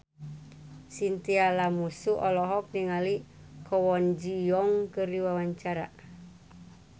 Chintya Lamusu olohok ningali Kwon Ji Yong keur diwawancara